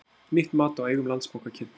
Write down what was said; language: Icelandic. Nýtt mat á eigum Landsbanka kynnt